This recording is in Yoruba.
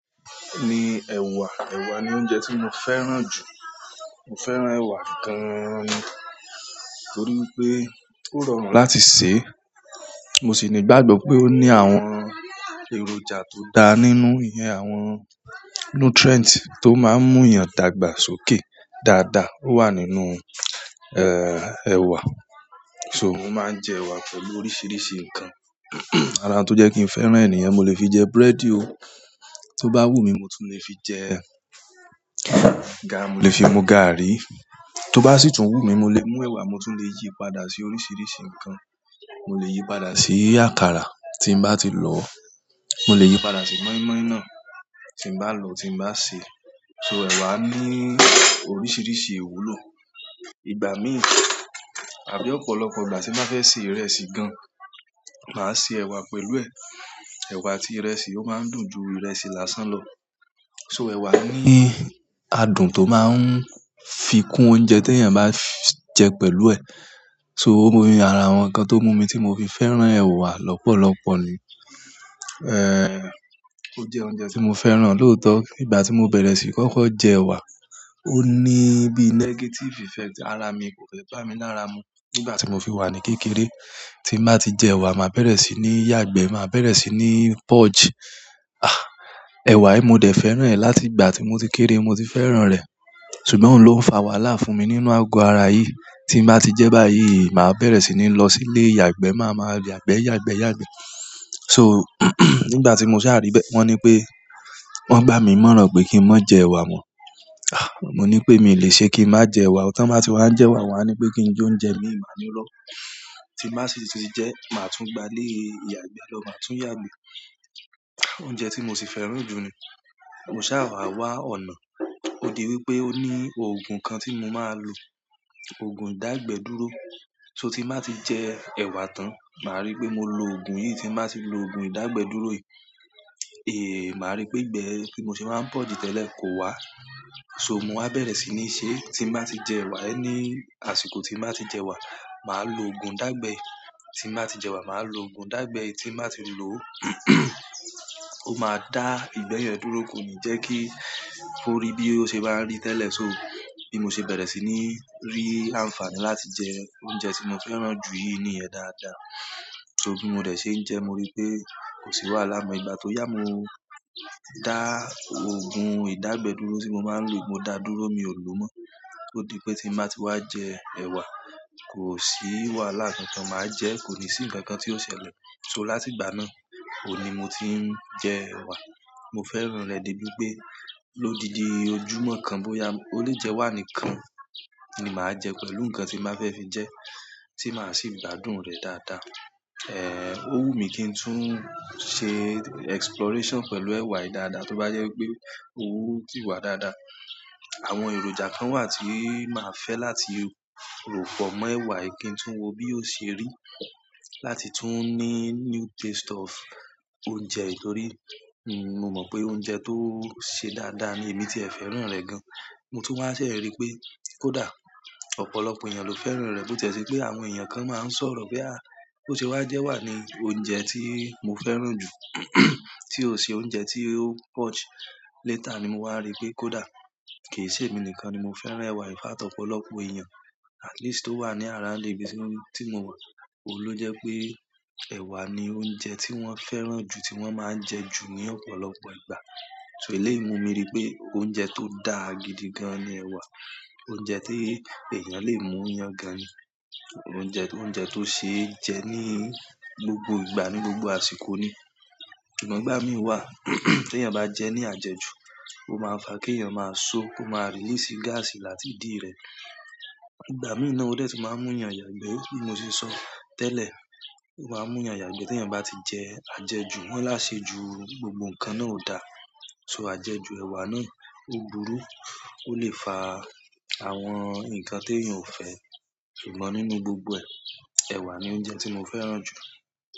Ni ẹ̀wà, ẹ̀wà ni oúnjẹ tí mo fẹ́ràn jù. Mo fẹ́ràn ẹ̀wà gan ni nítorí pé ó rọrùn láti sè, mo sì ní ìgbàgbọ́ pé ó ní àwọn èròjà tó dá nínú. Ìyẹn àwọn nutrient tó máa ń mú èèyàn dàgbà sókè dáadáa o wà nínú, ẹ̀wà. To mo maa n je ewa pẹ̀lú oríṣiríṣi nkan ara n tó jẹ́ kí n fẹ́ràn è niyen, mo lè fi jẹ búrẹ́dì o. Tó bá wù mí, mo tún lè fi jẹ, mo lè fi mu gààrí. Tó bá sì tún wù mí, mo lè mú ẹ̀wà, mo tún lè yí padà sí oríṣiríṣi nǹkan. Mo lè yí padà sí àkàrà tí n bá ti lò. Mo lè yí padà sí mọ́ínmọ́ín náà tí n bá lò, tí n bá sè. So ẹ̀wà ní oríṣiríṣi ìwúlò. Ìgbà mìíràn àbí ọ̀pọ̀lọpọ̀ ìgbà tí n ba fẹ́ se ìrẹsì gan, màá se ẹ̀wà pẹ̀lú ẹ̀. Ewa àti ìrẹsì o maa n dùn ju ìrẹsì lásán na to, ewa ni adùn ti o maa n fi kun oúnjẹ ti eyan ba je pẹ̀lú e so óun ni ara àwọn nǹkan tó mú mi tí mo fi fẹ́ràn ẹ̀wà lọ́pọ̀lọpọ̀ ni. Ó jẹ́ oúnjẹ tí mo fẹ́ràn lóòótọ́. Ìgbà tí mo bẹ̀rẹ̀ síi kókó jẹ ẹ̀wà, ó ní bí negative effect ara mi kò fẹ́ bá mi lára mu. Nígbà tí mo fi wà ní kékeré, tí n bá ti jẹ ẹ̀wà, màá bẹ̀rẹ̀ sí ní yàgbẹ́, màá bẹ̀rẹ̀ sí ní purge. Ẹ̀wà yìí, mo dẹ̀ fẹ́ràn rẹ̀ láti ìgbà tí mo ti kéré ni mo ti fẹ́ràn rẹ̀, ṣùgbọ́n òun ló ń fa wàhálà fún mi nínú àgọ ara yìí. Tí n bá ti jẹ báyìí, màá bẹ̀rẹ̀ sí ní lọ sí ilé ìyàgbẹ́, màá máa yàgbẹ̀, yàgbẹ̀, yàgbẹ̀. So nígbà tí mo sá à ri bẹ́ẹ̀, wọ́n ní pé, wọ́n gbá mi ni ìmọ̀ràn pé kí n má jẹ ẹ̀wà mọ. Mo ní pé mi ò lè ṣe kí n má jẹ ẹ̀wà. Tán ba tí wàá ń jẹ ẹ̀wà, won a ní pé kín je oúnjẹ imi ì maa ní irọ́. Ti n ba si ti je, maa tun gba ile ìyàgbẹ́ lo, maa tun yagbe oúnjẹ tí mo sì fẹ́ràn jù ni. Mo saa wa wa ọ̀nà ó di wípé ó ní òògùn kan tí mo máa lò, òògùn ìdágbẹ dúró. So tí n bá ti jẹ ẹ̀wa tán, màá rí pé mo lo òògùn yìí. Tí n bá ti lò òògùn ìdágbẹ dúró yìí, màá rí pé ìgbẹ́ tí mo sì máa ń purge tẹ́lẹ̀ kò wá. So, mo wa bere sini se, ti n ba ti jewa, any àsìkò ti n ba ti je ewa maa lo oogun idagbe yi tí n bá ti jẹ ẹ̀wà, màá lo òògùn dàgbẹ yi. Tí n bá ti lò ó máa dá ìgbẹ́ yẹn dúró, kò ní jẹ́ kí ó rí bí ó ṣe máa ń rí tẹ́lẹ̀. So bi mo ṣe bẹ̀rẹ̀ sí ní rí àǹfààní láti jẹ oúnjẹ tí mo fẹ́ràn jù yìí níyẹn dáadáa. So bí mo dẹ̀ ṣe ń jẹ ẹ, mo ri pé kò sí wàhálà mọ́ ìgbà tó yá. Mo dá òògùn ìdágbẹ dúró tí mo máa ń lò, mo dá a dúró, mi ò lò mọ́. Ó di pé tí n bá ti wá jẹ ẹwa, kò sí wàhálà. Kańkán màá jẹ, kò ní sí nǹkan kan tí ó ṣẹlẹ̀. So láti ìgbà náà, òní mo ti ń jẹ ẹ̀wà. Mo fẹ́ràn rẹ̀ dé bí pé lódi di ojúmọ́ kan bóyá ó lè jẹwá nìkan ni màá jẹ pẹ̀lú nǹkan tí n bá fẹ́ fi jẹ, tí màá sì gbádùn rẹ̀ dáadáa. Ó wù mí kí n tún ṣe exploration pẹ̀lú ẹ̀wà yìí dáadáa. Tó bá jẹ́ pé owú ti wà dáadáa, àwọn èròjà kan wà tí màá fẹ́ láti ròfọ̀ mọ́ ẹ̀wà yìí kí n tún wo bí ó ṣe rí láti tún ní new taste of oúnjẹ. Nítorí, n-mo mọ̀ pé oúnjẹ tó ṣe dáadáa ni èmí tí ẹ fẹ́ràn rẹ̀ gan. Mo tún wá ṣè rí pé kó dà. Ọ̀pọ̀lọpọ̀ èèyàn ló fẹ́ràn rẹ̀ bó ti ẹ se pé àwọn èèyàn kan máa ń sọ̀rọ̀ pé, "à, ó se wá jẹ ẹwa ni oúnjẹ tí mo fẹ́ràn jù tí ó ṣe oúnjẹ tí ó purge." Later ni mo wá ri pé kó dà. Kì í ṣe èmi nìkan ni mo fẹ́ràn ẹ̀wà. In fact ọ̀pọ̀lọpọ̀ èèyàn at least tó wà ní around ibi tí mo wà, òun ló jẹ́ pé ẹ̀wà ni oúnjẹ tí wọ́n fẹ́ràn jù, tí wọ́n máa ń jẹ jù ní ọ̀pọ̀lọpọ̀ ìgbà. So eléyi ì mu mi rí pé oúnjẹ tó da gidigan ni ẹwa. Oúnjẹ tí èèyàn lè mú yan gan ni. Òúnjẹ, oúnjẹ tó ṣe é jẹ ní gbogbo ìgbà, ní gbogbo àsìkò ni. Ṣùgbọ́n ìgbà mi waa ti eyan ba je ni aje ju o maa n fa ki eeyan maa so, ko maa release gas láti idi re. Ìgbà mìíràn náà ó dẹ̀ tun máa ń mú èèyàn yàgbẹ́ bí mo ṣe sọ tẹ́lẹ̀. O maa n mu eyan yagbe ti eyan ba ti je ajeju, won ni aseju gbogbo nkan náà o da. So àjẹjù ẹ̀wà náà ó búru, ó lè fa àwọn nǹkan tí èèyàn ò fẹ́. Ṣùgbọ́n nínú gbogbo ẹ, ẹwa ni oúnjẹ tí mo fẹ́ràn jù.